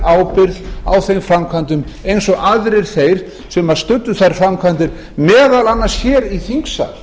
ábyrgð á þeim framkvæmdum eins og aðrir þeir sem studdu þær framkvæmdir meðal annars hér í þingsal